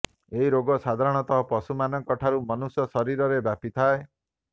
ଏହି ରୋଗ ସାଧାରଣତ ପଶୁମାନଙ୍କ ଠାରୁ ମନୁଷ୍ୟ ଶରୀରରେ ବ୍ୟାପିଥାଏ